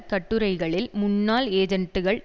கட்டுரைகளில் முன்னாள் ஏஜென்ட்டுகள்